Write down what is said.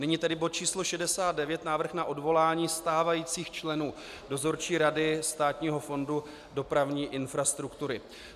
Nyní tedy bod číslo 69, návrh na odvolání stávajících členů Dozorčí rady Státního fondu dopravní infrastruktury.